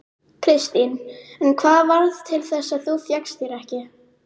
Kristín: En hvað varð til þess að þú fékkst þér ekki?